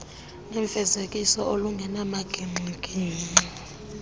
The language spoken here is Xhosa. nefezekiso olungenamagingxi gingxi